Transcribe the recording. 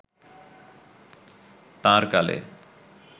তাঁর কালে